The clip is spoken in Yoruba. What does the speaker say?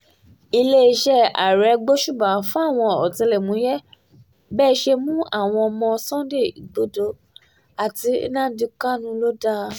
iléeṣẹ́ ààrẹ gbóṣùbà fáwọn ọ̀tẹlẹ̀múyẹ́ bẹ́ ẹ ṣe mú àwọn ọmọ sunday igbodò àti nnamdi kanu lọ dáa